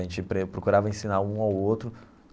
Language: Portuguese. A gente pre procurava ensinar um ao outro.